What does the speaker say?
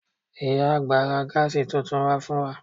Ìyá àgbà ra Gas tuntun wá fún wa